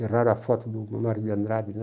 Erraram a foto do Manuel de Andrade, né?